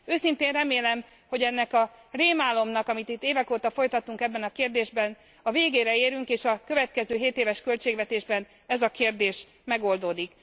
Őszintén remélem, hogy ennek a rémálomnak amit itt évek óta folytatunk ebben a kérdésben a végére érünk, és a következő hétéves költségvetésben ez a kérdés megoldódik.